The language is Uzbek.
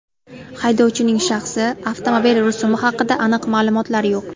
Haydovchining shaxsi, avtomobil rusumi haqida aniq ma’lumotlar yo‘q.